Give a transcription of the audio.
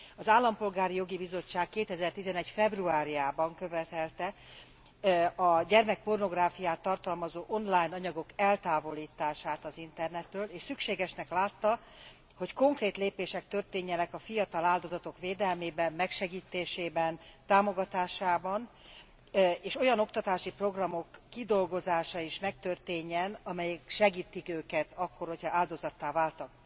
Az Állampolgári Jogi Bizottság 2011 februárjában követelte a gyermekpornográfiát tartalmazó online anyagok eltávolítását az internetről, és szükségesnek látta, hogy konkrét lépések történjenek a fiatal áldozatok védelmében, megsegítésében, támogatásában, és olyan oktatási programok kidolgozása is megtörténjen, amelyek segítik őket akkor, hogyha áldozattá váltak.